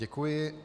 Děkuji.